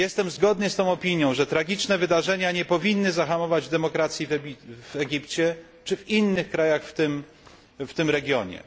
Zgadzam się z tą opinią, że tragiczne wydarzenia nie powinny zahamować demokracji w Egipcie czy w innych krajach w tym regionie.